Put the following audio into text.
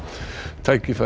tækifæri